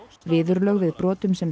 viðurlög við brotum sem